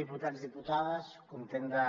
diputats diputades content de